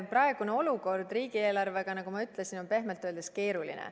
Praegune olukord riigieelarve mõttes on, nagu ma ütlesin, pehmelt öeldes keeruline.